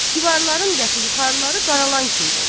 Divarların dəxi yuxarıları qaralan kimi olub.